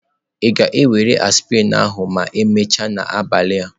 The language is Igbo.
Ị ga-ewere aspirin ahụ ma emechaa n'abalị?